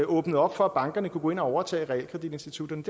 åbnede for at bankerne kunne gå ind og overtage realkreditinstitutterne